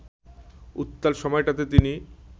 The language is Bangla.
উত্তাল সময়টাতে তিনি